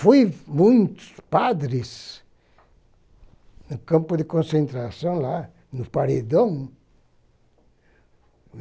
Fui muitos padres no campo de concentração lá, no paredão.